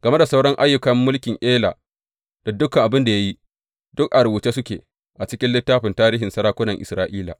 Game da sauran ayyukan mulkin Ela, da dukan abin da ya yi, duk a rubuce suke a cikin littafin tarihin sarakunan Isra’ila.